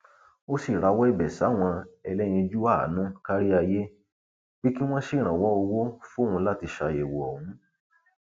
ó sì rawọ ẹbẹ sáwọn ẹlẹyinjú àánú kárí ayé pé kí wọn ṣèrànwọ owó fóun láti ṣàyẹwò ọhún